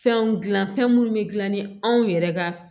Fɛnw dilan fɛn minnu bɛ dilan ni anw yɛrɛ ka